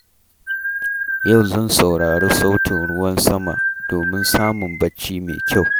Yau zan saurari sautin ruwan sama domin samun bacci mai kyau.